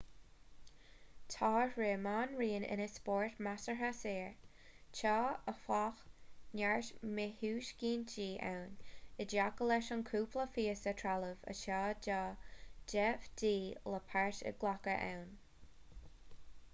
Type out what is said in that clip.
tá rith meánraoin ina spórt measartha saor tá áfach neart míthuiscintí ann i dtaca leis an chúpla píosa trealaimh atá tá de dhíth le páirt a ghlacadh ann